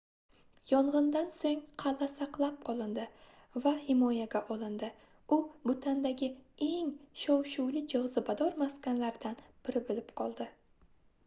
yongʻindan soʻng qalʼa saqlab qolindi va himoyaga olindi u butandagi eng shov-shuvli jozibador maskanlaridan biri boʻlib qoldi